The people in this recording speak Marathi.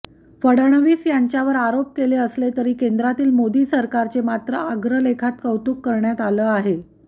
फडणवीस यांच्यावर आरोप केले असले तरी केंद्रातील मोदी सरकारचे मात्र अग्रलेखात कौतुक करण्यात आलं आहे